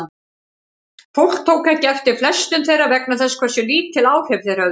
Fólk tók ekki eftir flestum þeirra vegna þess hversu lítil áhrif þeir höfðu.